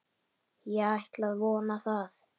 Ég ætla að vona það.